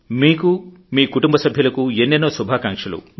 మీకు మీకుటుంబ సభ్యులకు ఎన్నోన్నో శుభాకాంక్షలు